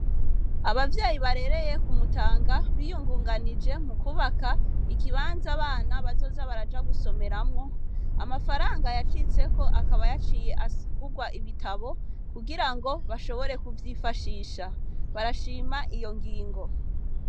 Abavyeyi barereye ku Mutanga, biyungunganije mu kwubaka ikibanza abana bazoja baraja gusomeramwo, amafaranga yacitseko akaba yaciye agurwa ibitabo, kugira ngo bashobore kuvyigashisha. Barashima iyo ngingo.